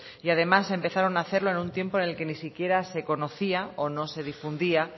y además empezaron a hacerlo en un tiempo en el que ni siquiera se conocía o no se difundía